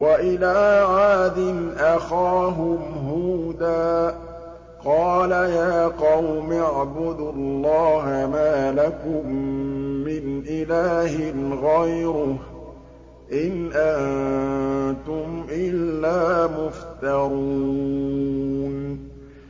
وَإِلَىٰ عَادٍ أَخَاهُمْ هُودًا ۚ قَالَ يَا قَوْمِ اعْبُدُوا اللَّهَ مَا لَكُم مِّنْ إِلَٰهٍ غَيْرُهُ ۖ إِنْ أَنتُمْ إِلَّا مُفْتَرُونَ